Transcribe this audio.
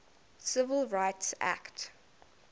civil rights act